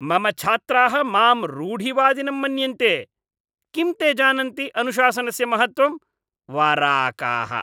मम छात्राः माम् रूढिवादिनं मन्यन्ते! किं ते जानन्ति अनुशासनस्य महत्त्वम्? वराकाः!